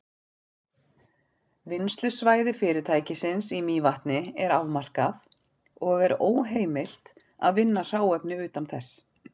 Vinnslusvæði fyrirtækisins í Mývatni er afmarkað, og er óheimilt að vinna hráefni utan þess.